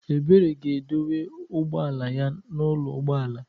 Ebere ga-edowe ụgbọ ala ya n'ụlọ ụgbọ ala.